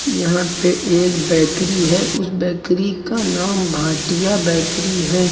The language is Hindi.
यहां पे एक बेकरी है उस बेकरी का नाम भाटिया बेकरी है।